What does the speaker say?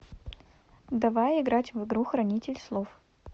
давай играть в игру хранитель слов